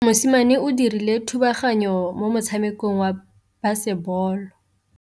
Mosimane o dirile thubaganyô mo motshamekong wa basebôlô.